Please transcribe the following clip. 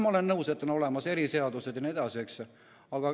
Ma olen nõus, et on olemas eriseadused jne.